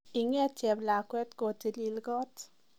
Inget cheblagwet kotilil kot